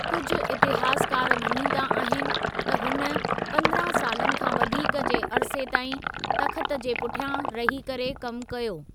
कुझु इतिहासकार मञींदा आहिनि त हुन पंद्रहं सालनि खां वधीक जे अरिसे ताईं तख़्त जे पुठियां रही करे कमु कयो।